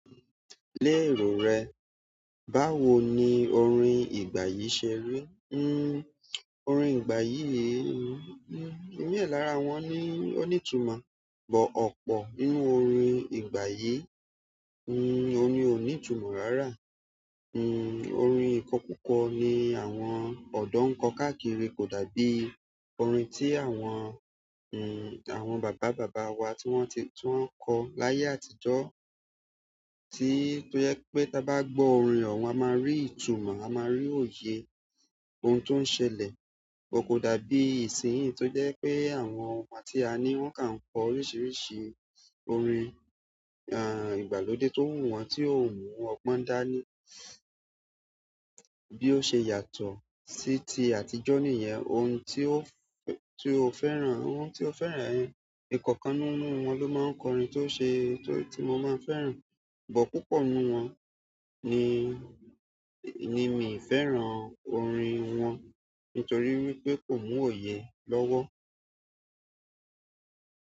Lé èrò rẹ, báwo ni orin ìgbà yìí ṣe rí? Orin ìgbà yìí, i mi lára wọn ní, o ní ìtumò, bó ọ̀pọ̀ nínú orin ìgbà yìí, oun ní òní ìtumò rárá. Orin ikọkukọ ni àwọn ọdọ n kọ kakiri ko da bi orin ti àwọn baba baba wa ti wọn nko layee àtijọ́ tí, tó jẹ pé tí a bá gbọ orin wọn, a máa rí ìtumò, a máa rí òye ohun tó n ṣẹlẹ̀ kò dàbí ìsinyìí tó jẹ́ pé àwọn ọmọ tí a ní wọ́n kà ń kọ oríṣiríṣi orin, ìgbàlódé tó wù wọ̣n tí ó mú ọgbọn dání. Bí ó ṣe yàtọ̀ sí ti àtijọ́ niyẹn, ohun tí ó, tí ó fẹ́ràn, ohun tí ó fẹ́ràn, ẹ̀ kọ̀kan nínú wọn ló máa n kọ orin tó ṣe, tí mo le fẹ́ràn, bó púpọ̀ nínú wọn ni, ni mí n fẹ́ràn orin wọn nítorí wípé kò mú òye lọ́wọ́.